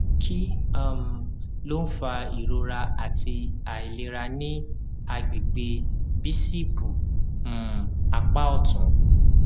kí um ló ń fa ìrora àti àìlera ní àgbègbè bícípù um apá òtún